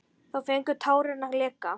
Þá fengu tárin að leka.